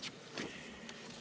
Aitäh!